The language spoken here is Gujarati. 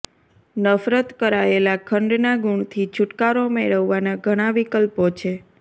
નફરત કરાયેલા ખંડના ગુણથી છુટકારો મેળવવાના ઘણા વિકલ્પો છે